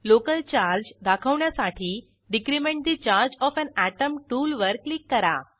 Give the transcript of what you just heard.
local charge दाखवण्यासाठी decrement the charge of an atom टूलवर click करा